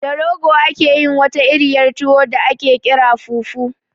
Da rogo ake yin wata iriyar tuwo da aƙe ƙira fufu